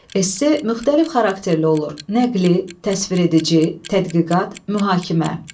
Esse müxtəlif xarakterli olur: nəqli, təsviredici, tədqiqat, mühakimə.